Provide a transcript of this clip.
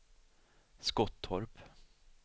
Skottorp